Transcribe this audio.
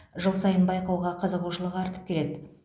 жыл сайын байқауға қызығушылық артып келеді